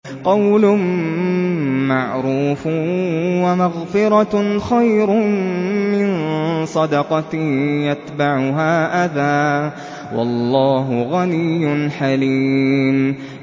۞ قَوْلٌ مَّعْرُوفٌ وَمَغْفِرَةٌ خَيْرٌ مِّن صَدَقَةٍ يَتْبَعُهَا أَذًى ۗ وَاللَّهُ غَنِيٌّ حَلِيمٌ